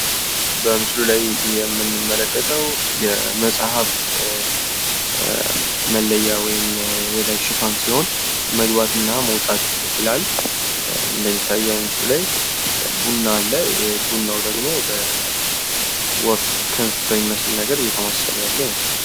በምስሉ ላይ የምንመለከተው የመጽሐፍ መለያ ወይም ደግሞ የላይ ሽፋን ሲሆን መግባትና መውጣት ይላል። እንደሚታየው ምስሉ ላይ ቡና አለ ቡናው ደግሞ ወፍ ክንፍ በሚመስል ነገር እየተማሰለ ያለ ይመስላል።